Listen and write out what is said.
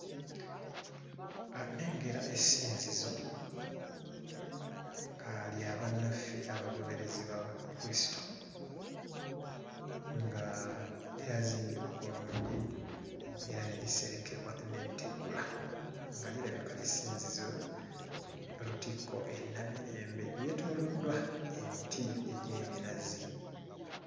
Nnengera essinzizo nga lya bannaffe abagoberezi ba Kristo, nga lyazimbibwa bulungi era ne liserekebwa n'ettegula nga lirabika ly'essinzizo lutikko e Namirembe. Lyetooloddwa emiti egy'ebinazi.